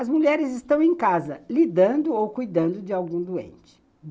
As mulheres estão em casa, lidando ou cuidando de algum doente.